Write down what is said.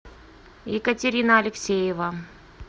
екатерина алексеева